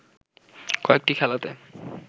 কয়েকটি খেলাতে